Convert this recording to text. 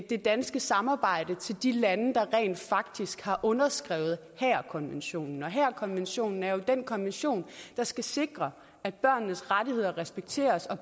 det danske samarbejde til de lande der rent faktisk har underskrevet haagerkonventionen og haagerkonventionen er jo den konvention der skal sikre at børnenes rettigheder respekteres og